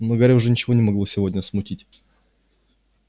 но гарри уже ничего не могло сегодня смутить